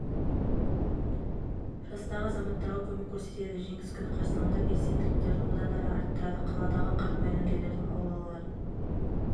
жастағы азаматтарға көмек көрсетеді жеңіс күні қарсаңында белсенділіктерін одан әрі арттырды қаладағы қарт майдангерлердің аулаларын